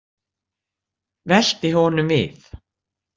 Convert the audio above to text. Velti honum við.